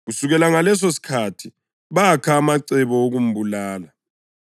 Kusukela ngalesosikhathi bakha amacebo okumbulala.